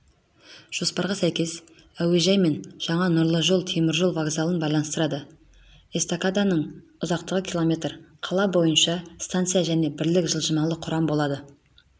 жоспарға сәйкес әуежай мен жаңа нұрлы жол теміржол вокзалын байланыстырады эстакаданың ұзақтығы км қала бойынша станция және бірлік жылжымалы құрам болады